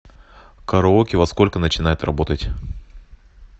караоке во сколько начинает работать